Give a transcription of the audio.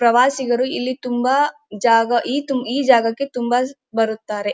ಪ್ರವಾಸಿಗರು ಇಲ್ಲಿ ತುಂಬಾ ಜಾಗ ಈ ಜಾಗಕ್ಕೆ ತುಂಬಾ ಬರುತ್ತಾರೆ.